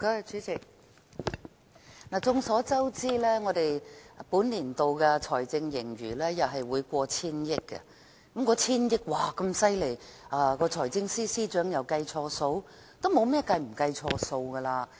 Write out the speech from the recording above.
主席，眾所周知，政府本年度的財政盈餘又會超過千億元，千億元的盈餘那麼厲害，難道財政司司長再次計錯數？